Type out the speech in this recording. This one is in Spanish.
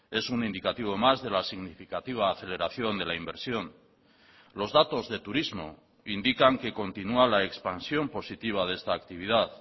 es un indicativo más de la significativa aceleración de la inversión los datos de turismo indican que continúa la expansión positiva de esta actividad